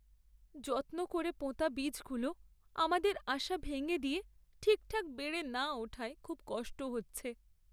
যত্ন করে পোঁতা বীজগুলো আমাদের আশা ভেঙে দিয়ে ঠিকঠাক বেড়ে না ওঠায় খুব কষ্ট হচ্ছে।